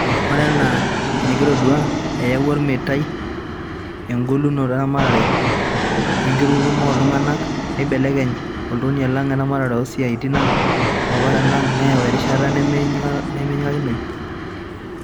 Oree enaa enekitodua, Eyauwa olmeitai egolotu eramatare wee nkitutumo ooltung'anak neibelekeny oltonia lang, eramatare oosiatin ang, oo paran ang, neyau erishata nimenyikakinoi.